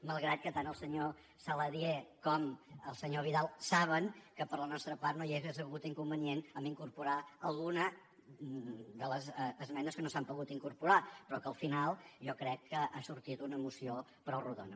malgrat que tant el senyor saladié com el senyor vidal saben que per la nostra part no hi hauria hagut inconvenient en incorporar alguna de les esmenes que no s’hi han pogut incorporar però que al final jo crec que ha sortit una moció prou rodona